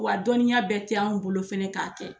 Wa a dɔnniya bɛɛ te anw bolo fana ka kɛ.